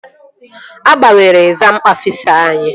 A gbanwere egzam ọfisa anyị